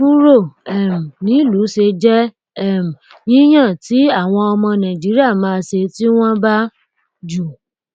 kúrò um nílùú ṣé jẹ um yíyàn tí àwọn ọmọ nàìjíríà máa ṣe tí wọn bà jù